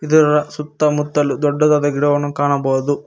ಇದರ ಸುತ್ತಮುತ್ತಲು ದೊಡ್ಡದಾದ ಗಿಡವನ್ನು ಕಾಣಬಹುದು.